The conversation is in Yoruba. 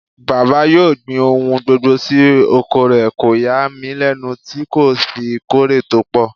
Bàbá yóò gbin ohun gbogbo sí oko rẹ̀, kò yà mí lẹ́nu tí kò fi kórè tó pọ̀.